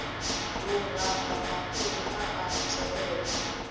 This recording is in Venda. luranga mafhuri a a tevhela